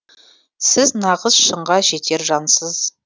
сіз нағыз шыңға жетер жансыз